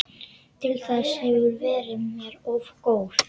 Til þess hefurðu verið mér of góð.